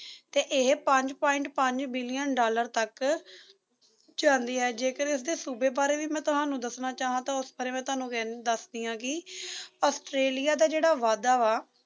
ਇਹ ਪੰਜ point ਪੰਜ billion ਡਾਲਰ ਤੱਕ ਜਾਂਦੀ ਹੈ ਜੇਕਰ ਇਸਦੇ ਸੂਬੇ ਬਾਰੇ ਵੀ ਮੈਂ ਤੁਹਾਨੂੰ ਦੱਸਣਾ ਚਾਹਾਂ ਤਾਂ ਉਸ ਬਾਰੇ ਮੈਂ ਤੁਹਾਨੂੰ ਫਿਰ ਵੀ ਦੱਸਦੀ ਆ ਕੀ ਆਸਟ੍ਰੇਲੀਆ ਦਾ ਜਿਹੜਾ ਵਾਧਾ ਵਾ